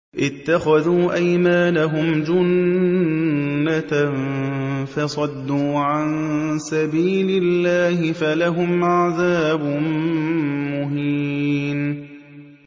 اتَّخَذُوا أَيْمَانَهُمْ جُنَّةً فَصَدُّوا عَن سَبِيلِ اللَّهِ فَلَهُمْ عَذَابٌ مُّهِينٌ